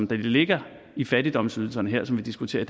der ligger i fattigdomsydelserne vi diskuterer